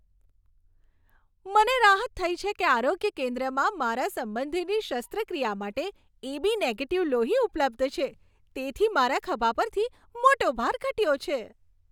મને રાહત થઈ છે કે આરોગ્ય કેન્દ્રમાં મારા સંબંધીની શસ્ત્રક્રિયા માટે એ.બી. નેગેટીવ લોહી ઉપલબ્ધ છે. તેથી મારા ખભા પરથી મોટો ભાર ઘટ્યો છે.